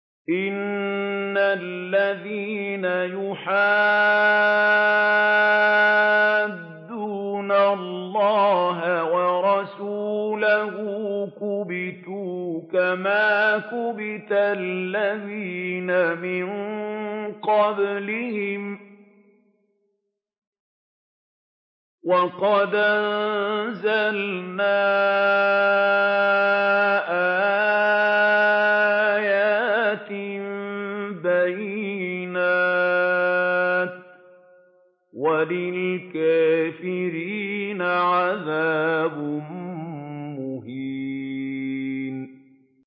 إِنَّ الَّذِينَ يُحَادُّونَ اللَّهَ وَرَسُولَهُ كُبِتُوا كَمَا كُبِتَ الَّذِينَ مِن قَبْلِهِمْ ۚ وَقَدْ أَنزَلْنَا آيَاتٍ بَيِّنَاتٍ ۚ وَلِلْكَافِرِينَ عَذَابٌ مُّهِينٌ